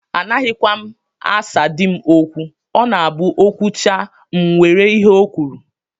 Anaghịkwa m asa di m okwu. Ọ na-abụ O kwuchaa, m were ihe ọ kwuru